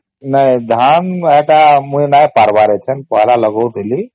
ନାଇଁ ଧାନ ମୁଇ ନାଇଁ ପାରିବାର ପେହେଲା ଲଗାଉଥିଲି